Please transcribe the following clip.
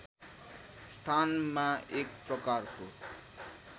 स्थानमा एक प्रकारको